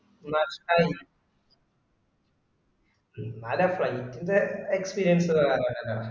നഷ്ടമാകും എന്നാലും ആ flight ൻറെ experience വേറെ തന്നൊക്കെതന്നാ